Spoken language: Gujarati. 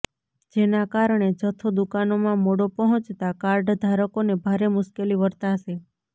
જેના કારણે જથ્થો દુકાનોમાં મોડો પહોંચતા કાર્ડધારકોને ભારે મુશ્કેલી વર્તાશે